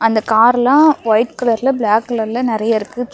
அந்த கார்லா ஒயிட் கலர்ல பிளாக் கலர்ல நறையா இருக்கு சுத்தி.